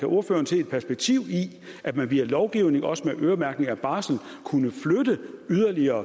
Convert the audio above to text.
ordføreren se et perspektiv i at man via lovgivning og også øremærkning af barsel yderligere